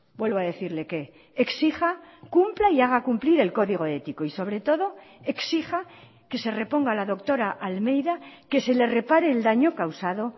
vuelvo a decirle que exija cumpla y haga cumplir el código ético y sobre todo exija que se reponga a la doctora almeida que se le repare el daño causado